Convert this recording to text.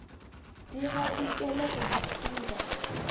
di gadikele go di phura